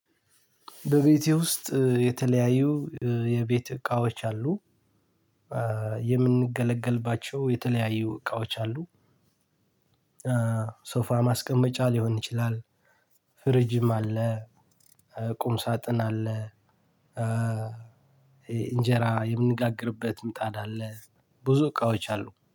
በቤቴ ውስጥ የተለያዩ የቤት እቃዎች አሉ። የምንገለገልባቸው የተለያዩ እቃዎች አሉ። ሶፋ ማስቀመጫ ሊሆን ይችላል። ፍሪጅም አለ። ቁም ሳጥን አለ። እንጀራ የምንጋግርበት ምጣድ አለ። ብዙ እቃዎች አሉ